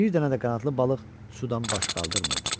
Bir dənə də qanadlı balıq sudan baş qaldırmırdı.